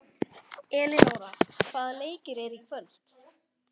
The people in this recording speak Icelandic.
Elinóra, hvaða leikir eru í kvöld?